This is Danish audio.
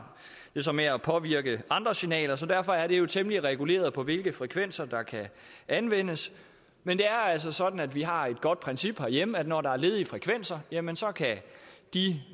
det så med at påvirke andre signaler så derfor er det temmelig reguleret hvilke frekvenser der kan anvendes men det er altså sådan at vi har et godt princip herhjemme om at når der er ledige frekvenser jamen så kan de